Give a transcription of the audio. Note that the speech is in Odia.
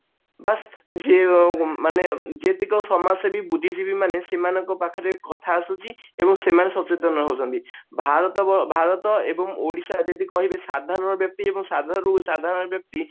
ବା ଯେ ମାନେ ଯେତିକ ସମାଜସେବୀ ବୁଦ୍ଧିଜୀବୀ ମାନେ ସେମାନଙ୍କ ପାଖରେ କଥା ଆସୁଛି ଏବଂ ସେମାନେ ସଚେତନ ହଉଛନ୍ତି ଭାରତ ଭାରତ ଏବଂ ଓଡିଶା ଯଦି କହିବେ ସାଧାରଣ ବ୍ୟକ୍ତି ସାଧା ରୁ ସାଧାରଣ ବ୍ୟକ୍ତି